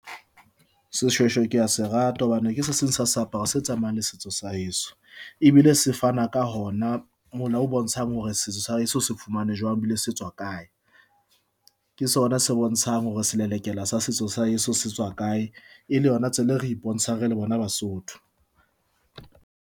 Seshweshwe ke ya se rate hobane ke se seng sa seaparo se tsamayang le setso sa heso ebile se fana ka hona mola o bontshang hore setso sa heso se fumane jwang, e bile se tswa kae, ke sona se bontshang hore selelekela sa setso sa heso se tswa kae e le yona tsela e re e bontshang re le bona Basotho.